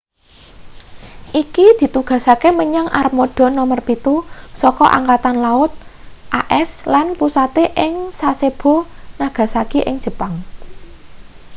iki ditugasake menyang armada nomer pitu saka angkatan laut as lan pusate ing sasebo nagasaki ing jepang